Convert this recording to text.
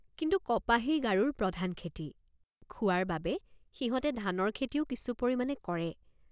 কিন্তু কপাহেই গাৰোৰ প্ৰধান খেতি। কিন্তু কপাহেই গাৰোৰ প্ৰধান খেতি। খোৱাৰ বাবে সিহঁতে ধানৰ খেতিও কিছু পৰিমাণে কৰে।